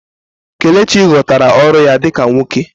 Kelechi ghọtara ọrụ ya dị ka nwoke